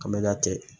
Ka mɛ ka cɛ